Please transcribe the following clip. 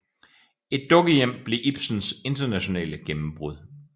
Et dukkehjem blev Ibsens internationale gennembrud